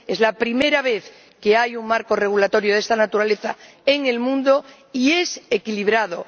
Es la primera vez que hay un marco regulador de esta naturaleza en el mundo, y es equilibrado.